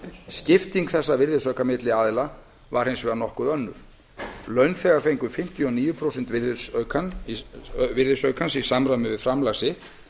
skipting þessa virðisauka milli aðila var hins vegar nokkuð önnur launþegar fengu fimmtíu og níu prósent virðisaukans í samræmi við framlag sitt